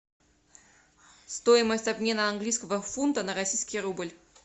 стоимость обмена английского фунта на российский рубль